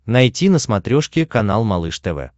найти на смотрешке канал малыш тв